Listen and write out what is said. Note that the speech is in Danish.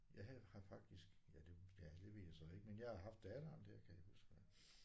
Jeg havde har faktisk ja det ja det ved jeg så ikke men jeg har haft datteren der kan jeg huske